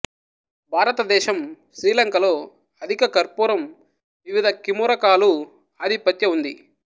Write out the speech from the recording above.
భారతదేశం శ్రీలంక లో అధిక కర్పూరం వివిధ కిమొరకాలు ఆధిపత్య ఉంది